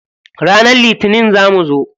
Ranar litinin za mu zo.